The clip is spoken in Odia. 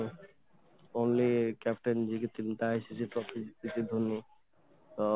only captain ସିଏ ଧୋନି